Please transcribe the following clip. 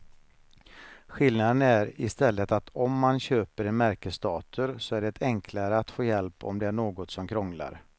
Skillnaden är i stället att om man köper en märkesdator så är det enklare att få hjälp om det är något som krånglar.